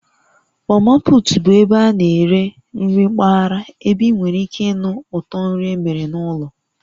Mamaput bụ ebe a na-eri nri mpaghara ebe ị nwere ike ịnụ ụtọ nri emere n'ụlọ